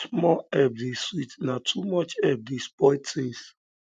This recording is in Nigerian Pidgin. small help dey sweet na too much help dey spoil tins